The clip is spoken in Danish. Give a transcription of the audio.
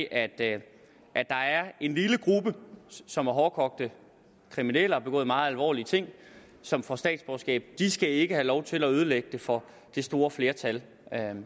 at der er en lille gruppe som er hårdkogte kriminelle og har begået meget alvorlige ting som får statsborgerskab de skal ikke have lov til at ødelægge det for det store flertal